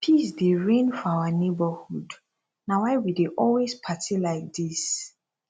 peace dey reign for our neighborhood na why we dey always party like dis